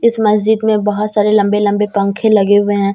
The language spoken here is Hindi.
इस मस्जिद में बहोत सारे लंबे लंबे पंखे लगे हुए हैं।